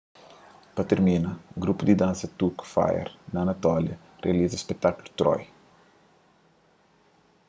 pa tirmina grupu di dansa turku fire of anatolia rializa spekutákulu troy